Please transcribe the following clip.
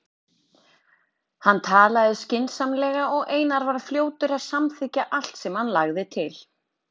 Hann talaði skynsamlega og Einar var fljótur að samþykkja allt sem hann lagði til.